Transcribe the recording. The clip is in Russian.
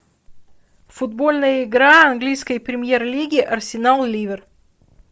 футбольная игра английской премьер лиги арсенал ливер